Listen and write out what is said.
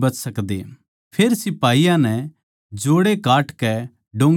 फेर सिपाहियाँ नै जोड़े काटकै डोंगी गेर दी